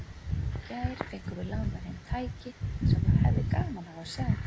Í gær fengum við lánað heim tæki sem þú hefðir gaman af að sjá.